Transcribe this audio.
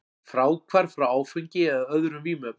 Fráhvarf frá áfengi eða öðrum vímuefnum.